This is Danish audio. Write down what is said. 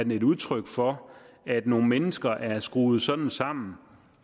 et udtryk for at nogle mennesker er skruet sådan sammen